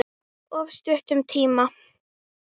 Of stuttum tíma.